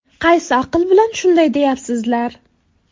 Qaysi aql bilan shunday deyapsizlar?